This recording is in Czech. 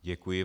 Děkuji.